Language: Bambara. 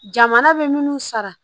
Jamana bɛ minnu sara